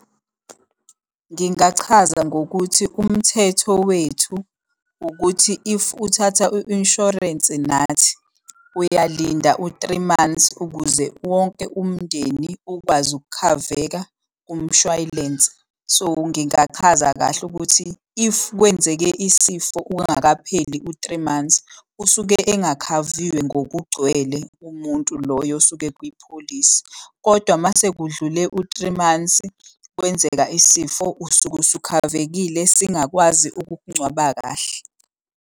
Ngingachaza ngokuthi umthetho wethu ukuthi if uthatha i-inshorensi nathi uyalinda u-three months ukuze wonke umndeni ukwazi ukukhaveka kumshwalense. So, ngingachaza kahle ukuthi if kwenzeke isifo ungakapheli u-three months, usuke engakhaviwe ngokugcwele umuntu loyo osuke ekwipholisi. Kodwa uma sekudlule u-three months, kwenzeka isifo usuke usukhavekile isingakwazi ukukungcwaba kahle.